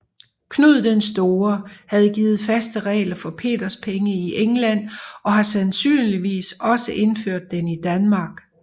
Knud den Store havde givet faste regler for peterspenge i England og har sandsynligvis også indført den i Danmark